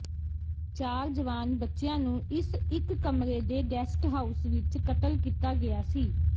ਚਾਰ ਜਵਾਨ ਬੱਚਿਆਂ ਨੂੰ ਇਸ ਇੱਕ ਕਮਰੇ ਦੇ ਗੈਸਟ ਹਾਊਸ ਵਿਚ ਕਤਲ ਕੀਤਾ ਗਿਆ ਸੀ